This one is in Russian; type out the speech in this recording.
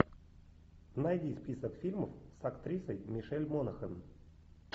найди список фильмов с актрисой мишель монахэн